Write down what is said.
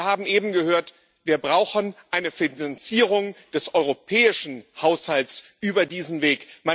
Und wir haben eben gehört, wir brauchen eine Finanzierung des europäischen Haushalts über diesen Weg.